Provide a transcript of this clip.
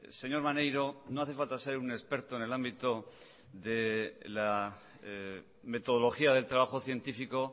señor maneiro no hace falta ser un experto en el ámbito de la metodología del trabajo científico